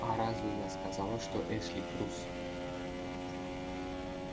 а разве я сказала что эшли трус